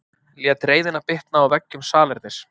Lét reiðina bitna á veggjum salernis